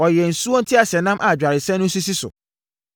Ɔyɛɛ nsuo nteaseɛnam a dwaresɛn no sisi so,